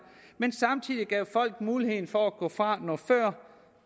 men samtidig gav folk mulighed for at gå fra noget før